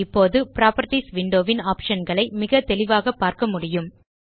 இப்போது properties window ன் optionகளை மிக தெளிவாக பார்க்க முடியும்